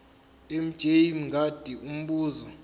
mj mngadi umbuzo